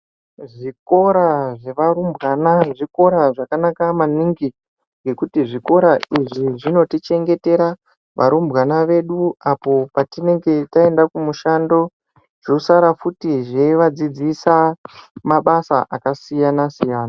Zvikora zvevarumbwana zvikora zvakanaka maningi ngekuti zvikora izvi zvinotichengetera varumbwana vedu apo patinenge taenda kumushando, zvosara futi zveivadzidzisa mabasa akasiyana siyana.